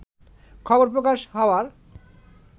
খবর প্রকাশ হওয়ার